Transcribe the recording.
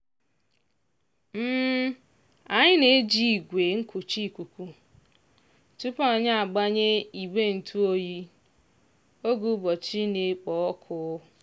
anyị na-eji igwe nkucha ikuku tupu anyị agbanye igbe ntụ oyi oge ụbọchị na-ekpo ọkụ.